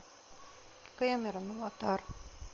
кэмерон аватар